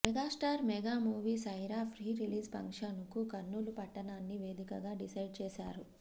megastar mega movie Sye Raa pre release function కు కర్నూలు పట్టణాన్ని వేదికగా డిసైడ్ చేసారు